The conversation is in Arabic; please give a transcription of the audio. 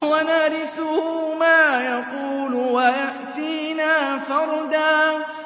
وَنَرِثُهُ مَا يَقُولُ وَيَأْتِينَا فَرْدًا